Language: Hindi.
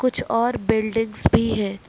कुछ और बिल्डिंग्स भी है।